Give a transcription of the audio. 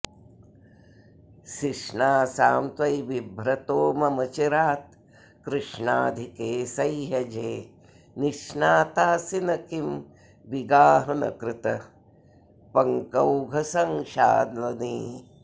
सिष्णासां त्वयिबिभ्रतो ममचिरात् कृष्णाधिके सह्यजे निष्णातासि न किं विगाहनकृतः पङ्कौघसङ्क्षालने